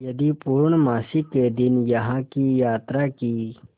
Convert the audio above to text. यदि पूर्णमासी के दिन यहाँ की यात्रा की